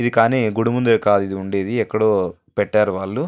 ఇది కానీ గుడి మూడు కాదు ఇది ఉండేది ఎక్కడో పెట్టారు వాళ్ళు.